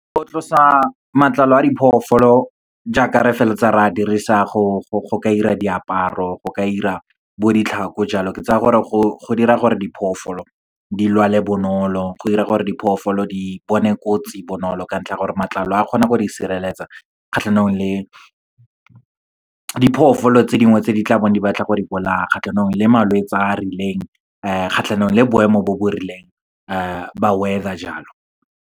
Go tlosa matlalo a diphoofolo jaaka re feleletsa re a dirisa, go ka 'ira diaparo, go ka 'ira bo ditlhako jalo. Ke tsaya gore go dira gore diphoofolo di lwale bonolo, go dira gore diphoofolo di bone kotsi bonolo, ka ntlha ya gore matlalo a kgona go di sireletsa kgatlhanong le diphoofolo tse dingwe tse di tla bong di batla go di bolaya, kgatlhanong le malwetsi a a rileng, kgatlhanong le boemo bo bo rileng ba weather jalo.